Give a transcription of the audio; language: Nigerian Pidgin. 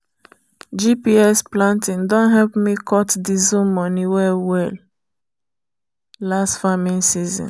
gps planting don help me cut diesel money well-well last farming season.